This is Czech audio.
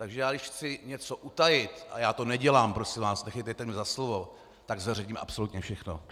Takže já když chci něco utajit - a já to nedělám, prosím vás, nechytejte mě za slovo - tak zveřejním absolutně všechno.